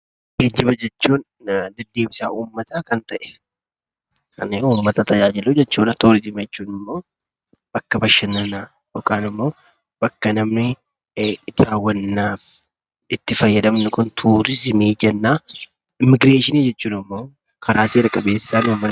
Geejjiba jechuun kan deddeebisa uummataa kan ta'e jechuudha. Turizimii jechuun immoo bakka bashannanaa jechuudha. Immigreeshinii jechuun immoo karaa seera qabeessaan namni tokko biyya yookiin bakka tokkoo gara biyyaa yookiin bakka imalu jechuudha.